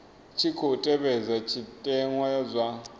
tshi khou tevhedzwa zwitenwa zwa